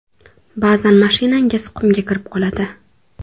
Ba’zan mashinangiz qumga kirib qoladi.